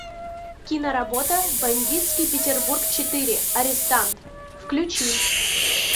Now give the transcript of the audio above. киноработа бандитский петербург четыре арестант включи